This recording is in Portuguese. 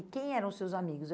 E quem eram os seus amigos?